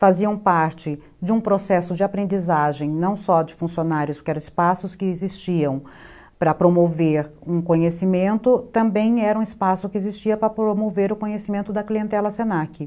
faziam parte de um processo de aprendizagem, não só de funcionários que eram espaços que existiam para promover um conhecimento, também era um espaço que existia para promover o conhecimento da clientela se na que.